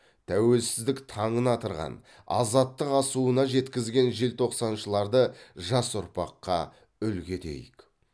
тәуелсіздік таңын атырған азаттық асуына жеткізген желтоқсаншыларды жас ұрпаққа үлгі етейік